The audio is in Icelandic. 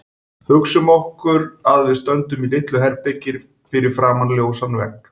Hugsum okkur að við stöndum í litlu herbergi fyrir framan ljósan vegg.